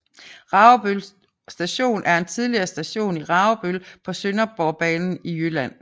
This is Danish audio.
Ragebøl Station er en tidligere station i Ragebøl på Sønderborgbanen i Jylland